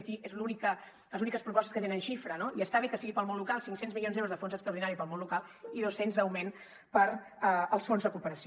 i aquestes són les úniques propostes que tenen xifra no i està bé que siguin per al món local cinc cents milions d’euros de fons extraordinari per al món local i dos cents d’augment per als fons de cooperació